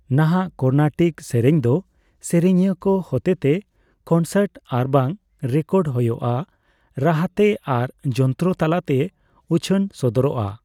ᱱᱟᱦᱟᱜ ᱠᱚᱨᱱᱟᱴᱤᱠ ᱥᱮᱨᱮᱧ ᱫᱚ ᱥᱮᱨᱮᱧᱤᱭᱟᱹ ᱠᱚ ᱦᱚᱛᱮᱛᱮ ᱠᱚᱱᱥᱟᱨᱴ ᱟᱨᱵᱟᱝ ᱨᱮᱠᱚᱰ ᱦᱳᱭᱳᱜᱼᱟ ᱨᱟᱦᱟᱛᱮ ᱟᱨ ᱡᱚᱱᱛᱨᱚ ᱛᱟᱞᱟᱛᱮ ᱩᱪᱷᱟᱹᱱ ᱥᱚᱫᱚᱨᱚᱜᱼᱟ ᱾